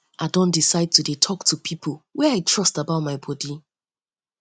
i don decide to dey talk to people wey i trust about my bodi